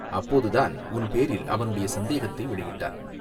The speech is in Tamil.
அப்போது தான் உன் பேரில் அவனுடைய சந்தேகத்தை வெளியிட்டான்.